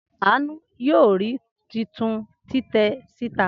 Anu yoo ri titun titẹ sita.